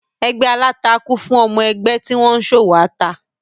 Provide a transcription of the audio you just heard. Ẹgbé aláta kún fún àwọn ọmọ-ẹgbẹ́ tí wọ́n ń ṣòwò ata.